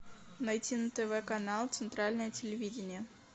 найти на тв канал центральное телевидение